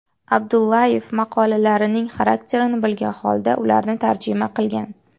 Abdullayev maqolalarining xarakterini bilgan holda ularni tarjima qilgan.